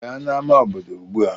Bịa n'ámá obodo ugbu a!